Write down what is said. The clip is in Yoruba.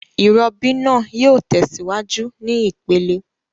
Ìrobí naa yio tèsíwájú ní ìpele